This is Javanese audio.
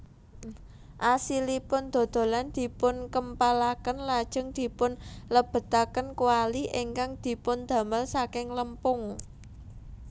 Asilipun dodolan dipunkempalaken lajeng dipunlebetaken kwali ingkang dipundamel saking lempung